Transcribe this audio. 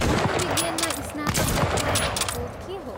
मनोविज्ञानमा स्नातकोत्तर भनेको के हो?